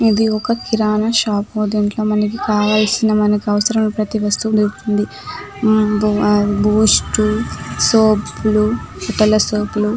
ఇది ఒక్క కిరాణా షాప్ దీంట్లో మనకి కావాల్సిన మనకు అవసరమైన ప్రతి వస్తువు దొరుకుతుంది బూస్ట్ సోప్ లు బట్టల సోప్ లు .